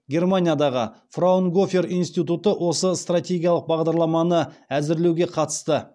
германиядағы фраунгофер институты осы стратегиялық бағдарламаны әзірлеуге қатысты